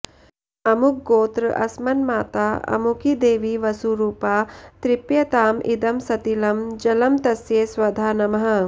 अमुकगोत्र अस्मन्माता अमुकी देवी वसुरूपा तृप्यताम् इदं सतिलं जलं तस्यै स्वधा नमः